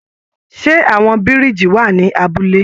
Ṣe àwọn biriji wà ní abúlé?